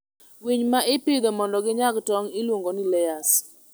Winy ma ipidho mondo ginyag tong' iluongo ni layers.